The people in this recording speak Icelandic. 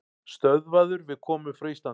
Stöðvaður við komu frá Íslandi